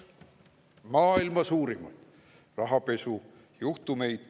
Üks maailma suurimaid rahapesujuhtumeid.